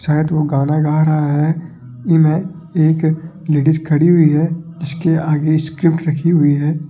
शायद वह गाना गा रहा है इनमें एक लेडिस खड़ी हुई है इसके आगे स्क्रिप्ट रखी हुई है।